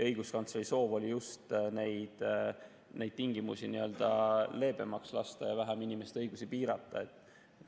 Õiguskantsleri soov oli just neid tingimusi n‑ö leebemaks muuta ja vähem inimeste õigusi piirata.